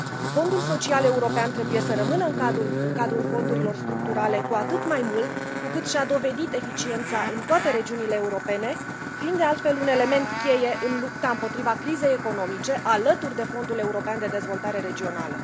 Fondul Social European trebuie să rămână în cadrul fondurilor structurale, cu atât mai mult cu cât și a dovedit eficiența în toate regiunile europene, fiind de altfel un element cheie în lupta împotriva crizei economice alături de Fondul European de Dezvoltare Regională.